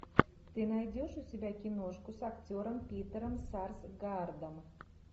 ты найдешь у себя киношку с актером питером сарсгаардом